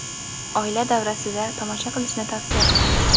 oila davrasida tomosha qilishni tavsiya qilamiz!.